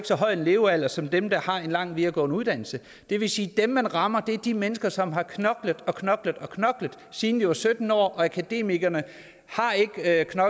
så høj en levealder som dem der har en lang videregående dannelse det vil sige at dem man rammer er de mennesker som har knoklet og knoklet siden de var sytten år akademikerne